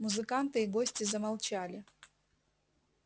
музыканты и гости замолчали